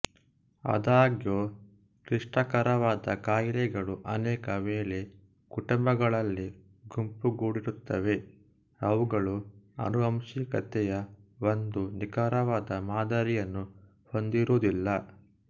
ಆದಾಗ್ಯೂ ಕ್ಲಿಷ್ಟಕರವಾದ ಕಾಯಿಲೆಗಳು ಅನೇಕ ವೇಳೆ ಕುಟುಂಬಗಳಲ್ಲಿ ಗುಂಪುಗೂಡಿರುತ್ತವೆ ಅವುಗಳು ಆನುವಂಶಿಕತೆಯ ಒಂದು ನಿಖರವಾದ ಮಾದರಿಯನ್ನು ಹೊಂದಿರುವುದಿಲ್ಲ